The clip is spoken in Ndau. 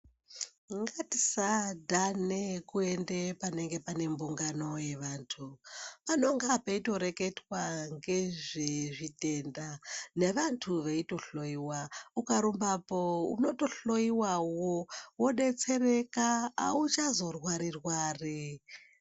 Ngatisadhane kuende panenge pane mbungano yevandu, panonga peitoreketwa ngezvezvitenda nevandu veitohloyiwa, ukarumba apo unotohloiwawo vobetsereka auchazo rwari rwari.